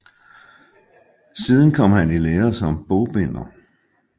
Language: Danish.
Siden kom han i lære som bogbinder